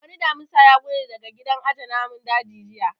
Wani Damisa ya gudu daga gidan aje namun daji jiya